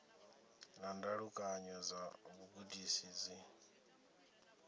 na ndalukanyo dza vhugudisi dzo